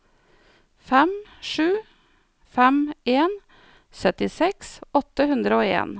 fem sju fem en syttiseks åtte hundre og en